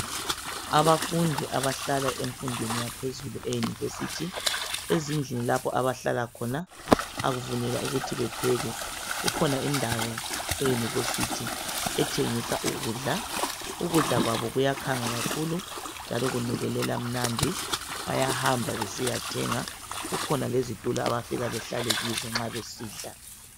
Abafundi abahlala emfundweni yaphezulu e University ezindlini lapho abahlala khona akuvunyelwa ukuthi bepheke, kukhona indawo eUniversity ethengisa ukudla , ukudla kwabo kuyakhanga kakhulu njalo kunukelela mnandi bayamba besiyathenga kukhona lezitulo abafika bahlale kizo nxa besidla.